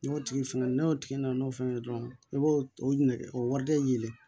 N'o tigi fɛn n'o tigi nana n'o fɛn ye dɔrɔn i b'o o nɛgɛ o wari de yɛlɛ